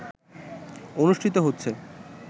অনুষ্ঠিত হচ্ছে